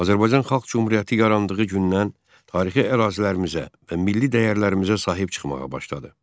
Azərbaycan Xalq Cümhuriyyəti yarandığı gündən tarixi ərazilərimizə və milli dəyərlərimizə sahib çıxmağa başladı.